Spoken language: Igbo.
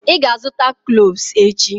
Ị ga-azụta cloves echi.